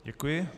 Děkuji.